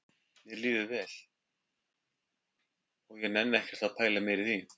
Mér líður vel og ég nenni ekkert að pæla meira í því